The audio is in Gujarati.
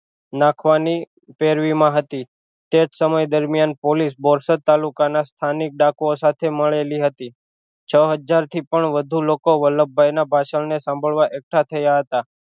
નાખવાની માં હતી તેજ સમય દરમિયાન પોલીસ બોરસદ તાલુકા ના સ્થાનિક ડાકુ ઑ સાથે મળેલી હતી છ હજાર થી પણ વધુ લોકો વલ્લભભાઈ ના ભાષણ ને સાંભળવા એકઠા થયા હતા